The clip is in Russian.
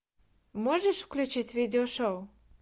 можешь включить видео шоу